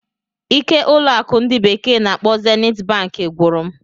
ike ụlọ akụ ndi bekee na-akpo Zenit Bank gwụrụ m.